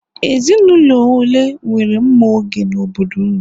Ezinụlọ ole nwere mma oge n'obodo ụnụ?